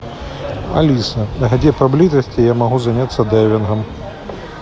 алиса где поблизости я могу заняться дайвингом